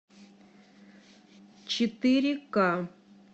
четыре ка